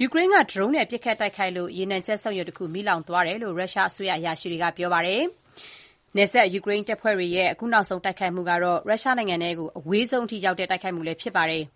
ယူကရိန်းက ဒရုန်းတွေနဲ့ ပစ်ခတ်တိုက်ခိုက်လို့ ရေနံစက်ရုံတရုံ မီးလောင်သွားခဲ့တယ်လို့ ရုရှားအစိုးရအရာရှိတွေက ပြောပါတယ်။ နယ်စပ်ယူကရိန်းတပ်ဖွဲ့တွေရဲ့ အခုနောက်ဆုံး ဒီတိုက်ခိုက်မှုက ရုရှားနိုင်ငံထဲ အဝေးဆုံးကို ရောက်တဲ့ တိုက်ခိုက်မှုလည်း ဖြစ်ပါတယ်။